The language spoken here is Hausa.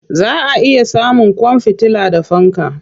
Za a iya samun kwan fitila da fanka.